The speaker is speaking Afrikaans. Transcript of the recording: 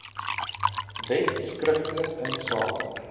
wet skriftelik insake